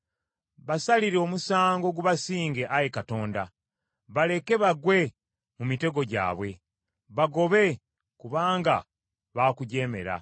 Basalire omusango gubasinge, Ayi Katonda; baleke bagwe mu mitego gyabwe. Bagobe kubanga baakujeemera.